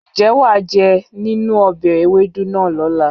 Ǹjẹ́ wà á jẹ nínú ọbẹ̀ ewédú náà lọ́la?